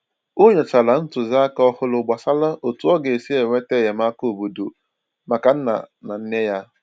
Ọ nyochàrà ntụziaka òhùrù gbasàrà otú ọ ga-esi enweta enyémàkà óbọ̀dò maka nna na nne ya.